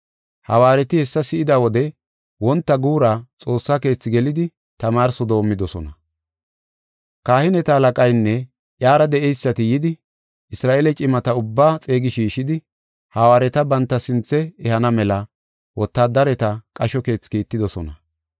Hawaareti hessa si7ida wode wonta guura Xoossa Keethi gelidi tamaarso doomidosona. Kahineta halaqaynne iyara de7eysati yidi, Isra7eele cimata ubbaa xeegi shiishidi hawaareta banta sinthe ehana mela wotaadareta qasho keethi kiittidosona.